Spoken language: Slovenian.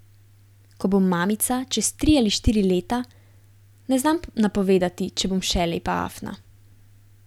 Ko bom mamica, čez tri ali štiri leta, ne znam napovedati, če bom še Lepa afna.